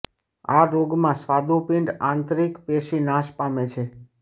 આ રોગ માં સ્વાદુપિંડ આંતરિક પેશી નાશ પામે છે